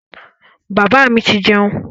Bàbá mi ti jẹun.